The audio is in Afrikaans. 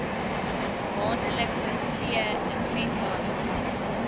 maandelikse vee inventaris